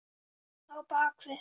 Þú byrjar.